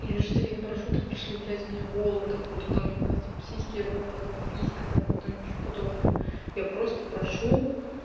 я же тебя не прошу там пришли блять меня голую фотку там ебать сиськи жопа там писка там там ещё подобное я просто прошу